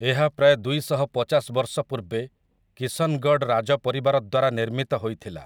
ଏହା ପ୍ରାୟ ଦୁଇଶହପଚାଶ ବର୍ଷ ପୂର୍ବେ କିଶନଗଡ଼ ରାଜ ପରିବାର ଦ୍ୱାରା ନିର୍ମିତ ହୋଇଥିଲା ।